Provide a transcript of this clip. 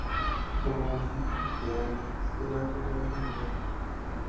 Omume ya dị anya site n'akụkọ ihe mere eme.